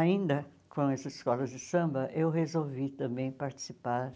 Ainda com essas escolas de samba, eu resolvi também participar